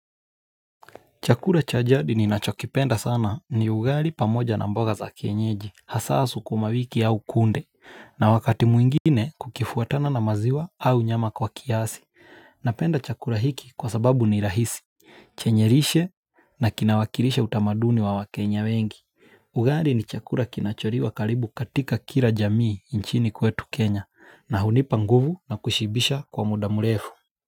Chakura cha jadi ninachokipenda sana ni ugari pamoja na mboga za kenyeji, hasa sukumawiki au kunde, na wakati mwingine kukifuatana na maziwa au nyama kwa kiasi. Napenda chakura hiki kwa sababu ni rahisi, chenyerishe na kinawakirisha utamaduni wa wakenya wengi. Ugari ni chakura kinachori wa kalibu katika kira jamii nchini kwetu Kenya, na hunipa nguvu na kushibisha kwa muda murefu.